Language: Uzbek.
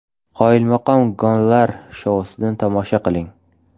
Qoyilmaqom gollar shousini tomosha qiling !